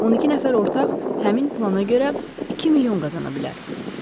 12 nəfər ortaq həmin plana görə 2 milyon qazana bilər.